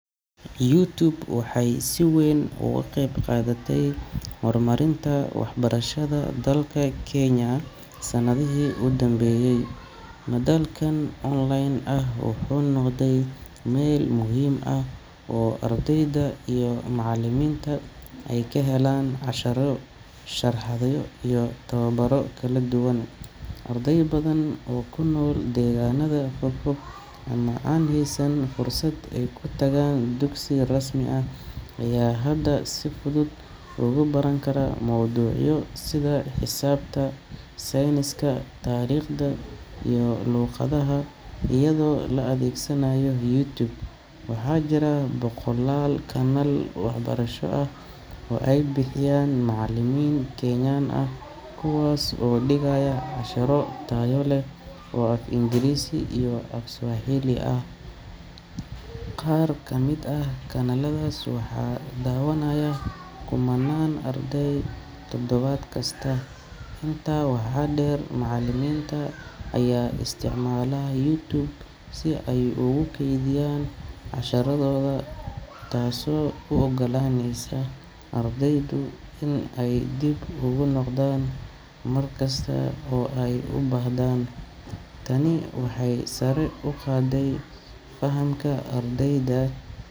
YouTube waxay si weyn uga qayb qaadatay horumarinta waxbarashada dalka Kenya sanadihii u dambeeyay. Madalkan online ah wuxuu noqday meel muhiim ah oo ardayda iyo macallimiinta ay ka helaan casharro, sharaxaadyo, iyo tababaro kala duwan. Arday badan oo ku nool deegaannada fogfog ama aan haysan fursad ay ku tagaan dugsi rasmi ah ayaa hadda si fudud ugu baran kara mowduucyo sida xisaabta, sayniska, taariikhda, iyo luqadaha iyadoo la adeegsanayo YouTube. Waxaa jira boqolaal kanaal waxbarasho ah oo ay bixinayaan macallimiin Kenyan ah kuwaas oo dhigaya casharro tayo leh oo af-Ingiriisi iyo af-Swahili ah. Qaar ka mid ah kanaaladaas waxaa daawanaya kumannaan arday toddobaad kasta. Intaa waxaa dheer, macallimiinta ayaa isticmaala YouTube si ay ugu kaydiyaan casharradooda, taasoo u oggolaanaysa ardaydu inay dib ugu noqdaan mar kasta oo ay u baahdaan. Tani waxay sare u qaaday fahamka ardayda.